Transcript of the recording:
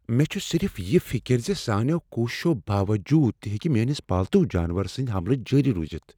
مےٚ چھےٚ صرف یہ فکر ز سانیٚو کوششو باووٚجوٗد تہ ہیٚکہ میٲنس پالتو جانور سٕندۍ حملہٕ جٲری روزتھ۔